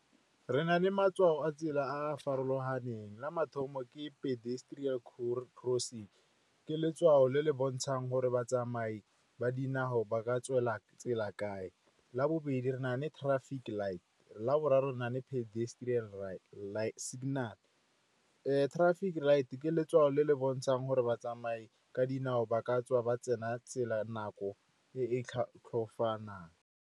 Re na le matshwao a tsela a a farologaneng. La mathomo ke pedestrial crossing, ke letshwao le le bontshang gore batsamai ba dinao ba ka tswela tsela kae. La bobedi re na le traffic lights. La boraro re na le pedestrian signal. Traffic light ke letshwao le le bontshang gore batsamai ka dinao ba ka tswa ba tsena tsela nako e e .